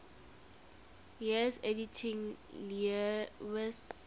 years editing lewes's